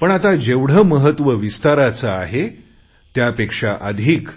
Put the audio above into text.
पण आता जेवढे महत्व विस्ताराचे आहे त्यापेक्षा अधिक